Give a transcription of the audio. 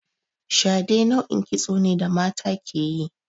Shade nau'in kitso ne da mata ke yi.